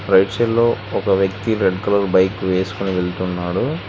Right side లో ఒక వ్యక్తి రెడ్ కలర్ బైక్ వేసుకుని వెళ్తున్నాడు.